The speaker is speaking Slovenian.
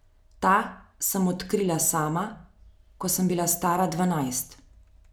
Ta sem odkrila sama, ko sem bila stara dvanajst.